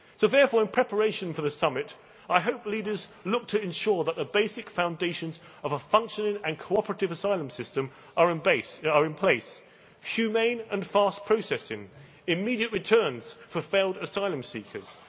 Therefore, in preparation for the summit, I hope leaders look to ensure that the basic foundations of a functioning and cooperative asylum system are in place humane and fast processing immediate returns for failed asylum seekers